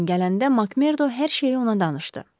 Skaleyn gələndə Makmerdo hər şeyi ona danışdı.